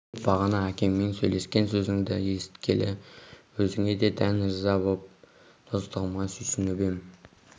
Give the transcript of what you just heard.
тек бағана әкеңмен сөйлескен сөзіңді есіткелі өзіңе дән ырза боп достығыма сүйсініп ем